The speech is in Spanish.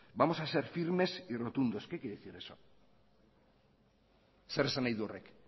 vamos a ser firmes y rotundos qué quiere decir eso zer esan nahi du horrek